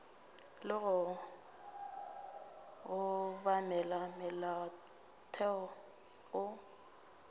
le go obamela molaotheo go